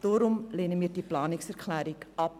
Deshalb lehnen wir die Planungserklärung ab.